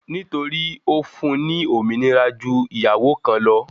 Nítorí Ó fún-un ní òmìnira ju ìyàwó kan lọ.